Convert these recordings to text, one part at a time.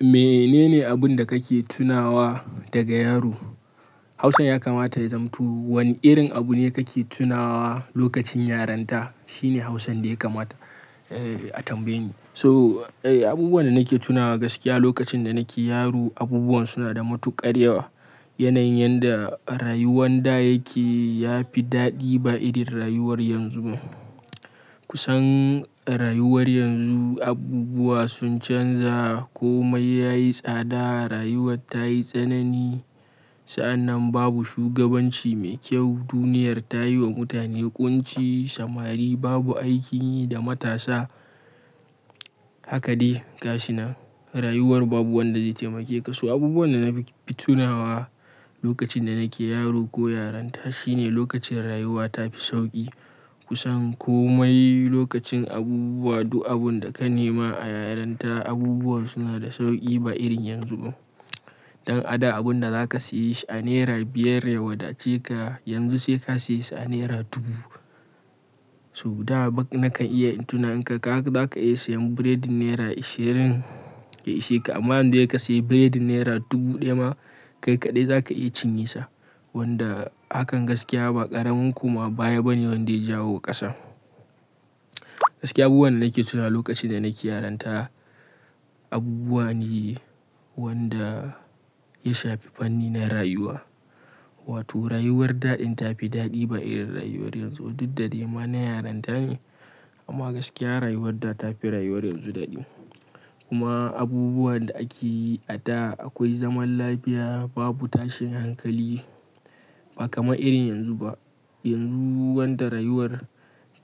Menene abin da kake tunawa daga yaro? Hausan ya kamata ya zamto. Wane irin abu ne kake tunawa lokacin yarinta? Shine Hausan da ya kamata a tambaye ni. So, abubuwan da nake tunawa gaskiya lokacin da nake yaro, abubuwan suna da matuƙar yawa. Yanayin yanda a rayuwan da yake ya fi daɗi ba irin rayuwar yanzu ba. Kusan rayuwar yanzu abubuwa sun canza komai yayi tsada, rayuwa tayi tsanani. Sa'annan babu shugabanci mai kyau. Duniyar ta yi wa mutane ƙunci, samari babu aikin yi da matasa. Haka dai gashinan nan rayuwar babu wanda zai taimake ka. So abubuwan da na fi tunawa lokacin da nake yaro ko yaranta shine lokacin rayuwa ta fi sauƙi. Kusan komai lokacin abubuwa duk abun da ka nema a yaranta abubuwan suna da sauƙi ba irin yanzu ba. Dan a da abun da zaka siye shi a naira biyar ya wadace ka yanzu sai ka siya a naira dubu. To da ba nakan iya tuna haka zaka iya siyan biredin naira ishirin ya ishe ka, amma yanzu dai ka siya biredin naira dubu ɗaya ma kai kaɗai zaka iya cinye sa. Wanda hakan gaskiya ba ƙaramin koma baya bane wanda ya jawo wa ƙasa. Gaskiya abubuwan da nake tuna lokacin da nake yaranta abubuwa ne wanda ya shafi fanni na rayuwa. Wato rayuwar daɗin ta fi daɗi ba irin rayuwar yanzu. Diddade ma na yarinta ne amma gaskiya rayuwar da ta fi rayuwar yanzu daɗi. Kuma abubuwan da ake yi a da akwai zaman lafiya babu tashin hankali ba kamar irin yanzu ba. Yanzu wanda rayuwar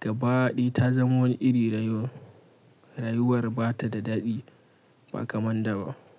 gabaɗaya ta zama wani iri rayuwar, rayuwar ba ta da daɗi ba kaman da ba.